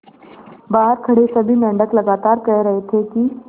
बहार खड़े सभी मेंढक लगातार कह रहे थे कि